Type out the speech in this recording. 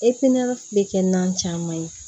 bɛ kɛ nan caman ye